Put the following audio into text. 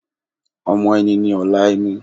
Ọmọ ẹni ni ọ̀la ẹni